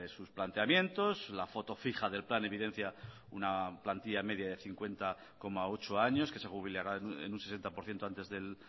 sus planteamientos la foto fija del plan evidencia una plantilla media de cincuenta coma ocho años que se jubilarán en un sesenta por ciento antes del